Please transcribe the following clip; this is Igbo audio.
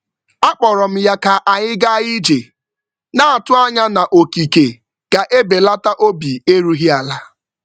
A kpọrọ m ya ka anyị gaa ije, na-atụ anya na okike ga-ebelata obi erughị ala.